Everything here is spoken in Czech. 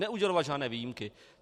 Neudělovat žádné výjimky.